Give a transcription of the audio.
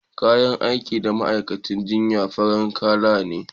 kayan aiki na ma'aikacin jinya farin Kala ce